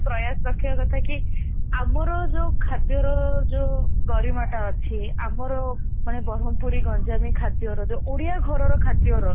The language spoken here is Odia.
ଗୋଟେ ପ୍ରୟାସ ରଖିବା କଥା କି ଆମର ଯୋଉ ଖାଦ୍ୟ ର ଯୋଉ ଗରିମା ଟା ଅଛି ଆମର ମାନେ ବ୍ରହ୍ମପୁରି ଗଞ୍ଜାମି ଖାଦ୍ୟର ଯୋଉ ଓଡିଆ ଘରର ଖାଦ୍ୟର